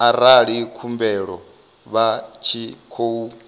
arali khumbelo vha tshi khou